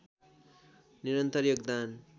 निरन्तर योगदान